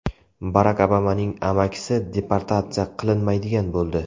Barak Obamaning amakisi deportatsiya qilinmaydigan bo‘ldi.